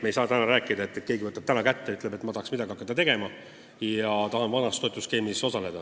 Ei saa nii, et keegi võtab täna kätte ja ütleb, et ma tahaks midagi hakata tegema ja tahan vanas toetusskeemis osaleda.